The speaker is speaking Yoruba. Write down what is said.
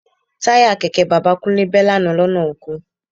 Táyà kẹ̀kẹ́ bàbá Kúnlé bẹ́ lánàá lọ́nà oko